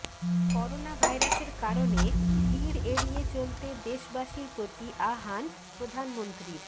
corona ভাইরাসের কারণে ভিড় এড়িয়ে চলতে দেশবাসীর প্রতি আহ্বান প্রধানমন্ত্রীর